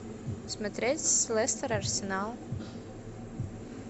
смотреть лестер арсенал